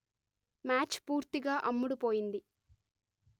match పూర్తిగా అమ్ముడు పోయింది